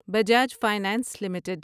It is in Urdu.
Bajaj finance limited